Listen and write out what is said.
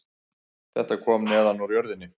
Þetta kom neðan úr jörðinni